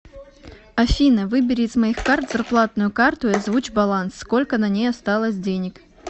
афина выбери из моих карт зарплатную карту и озвучь баланс сколько на ней осталось денег